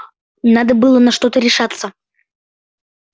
надо было на что-то решаться